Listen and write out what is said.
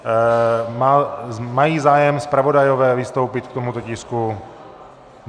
Mají zájem zpravodajové vystoupit k tomuto tisku?